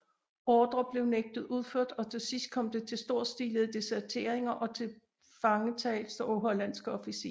Ordrer blev nægtet udført og til sidst kom det til storstilede deserteringer og tilfangetagelser af hollandske officerer